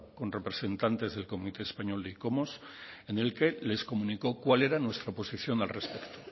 con representantes del comité español de icomos en el que les comunicó cuál era nuestra posición al respecto